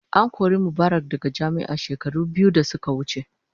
An kori Mubarak daga jami'a shekaru biyu da suka wuce.